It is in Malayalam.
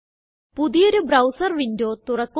പുതിയൊരു ബ്രൌസർ വിൻഡോ തുറക്കുക